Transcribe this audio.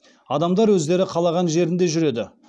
адамдар өздері қалаған жерінде жүреді